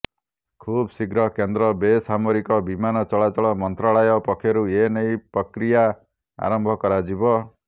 ଖୁବ ଶିଘ୍ର କେନ୍ଦ୍ର ବେସାମରିକ ବିମାନ ଚଳାଚଳ ମନ୍ତ୍ରାଳୟ ପକ୍ଷରୁ ଏନେଇ ପ୍ରକ୍ରିୟା ଆରମ୍ଭ କରାଯିବ